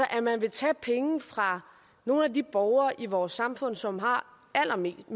at man vil tage penge fra nogle af de borgere i vores samfund som har allermindst